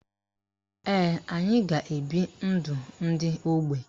Ee, anyị ga-ebi ndụ ndị ógbè.